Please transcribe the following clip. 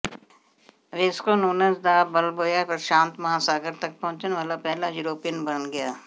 Wasco Nunez de Balboa ਪ੍ਰਸ਼ਾਂਤ ਮਹਾਂਸਾਗਰ ਤਕ ਪਹੁੰਚਣ ਵਾਲਾ ਪਹਿਲਾ ਯੂਰੋਪੀਅਨ ਬਣ ਗਿਆ